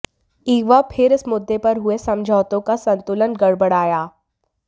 एक बार फिर इस मुद्दे पर हुए समझौतों का संतुलन गड़बड़ाया